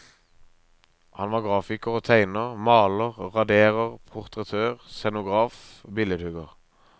Han var grafiker og tegner, maler, raderer, portrettør, scenograf, billedhugger.